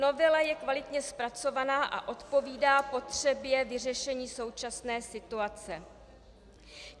Novela je kvalitně zpracovaná a odpovídá potřebě vyřešení současné situace.